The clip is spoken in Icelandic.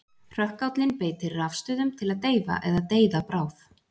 Hrökkállinn beitir rafstuðum til að deyfa eða deyða bráð.